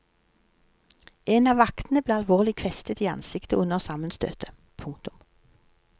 En av vaktene ble alvorlig kvestet i ansiktet under sammenstøtet. punktum